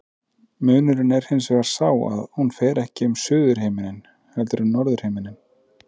Munurinn er hins vegar sá að hún fer ekki um suðurhimininn heldur um norðurhimininn.